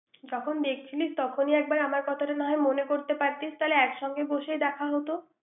যখন দেখছিলেস তখনই একবার আমার কথা তা না হয়মনে করতে পারতিস তাহলে একসঙ্গে দেখা হোত৷